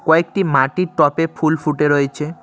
কয়েকটি মাটির টপে ফুল ফুটে রয়েছে।